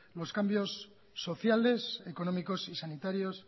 los cambios sociales económicos y sanitarios